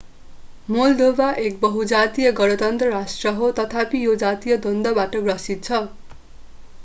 Moldova एक बहु-जातीय गणतन्त्र राष्ट्र हो तथापि यो जातीय द्वन्द्वबाट ग्रसित छ